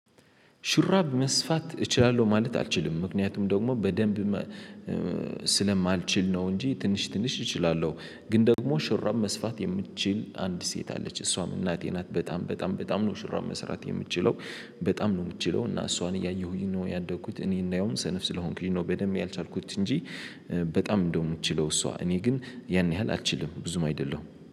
ሹራብ መስፋት እችላለሁ ማለት አልችልም ምክንያቱም ደግሞ በደንብ ስለማልችል ነው እንጂ ትንሽ ትንሽ እችላለሁ። ግን ደግሞ ሹራብ መስፋት የምትችል አንድ ሴት አለች እሷም እናቴ ናት በጣም በጣም በጣም ነው ሹራብ መስራት የምትችለው በጣም ነው የምትችለው እና እሷን እያየሁኝ ነው ያደግኩት እኔ እንደውም ሰነፍ ስለሆንኩኝ ነው በደንብ ያልቻልኩት እንጂ በጣም እንደውም ምትችለው እሷ እኔ ግን ያን ያህል አልችልም ብዙም አይደለሁም